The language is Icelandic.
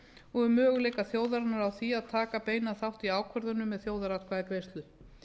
og um möguleika þjóðarinnar á því að taka beinan þátt í ákvörðunum með þjóðaratkvæðagreiðslu